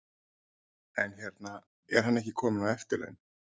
En hérna, er hann ekki kominn á eftirlaun?